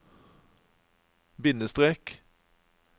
bindestrek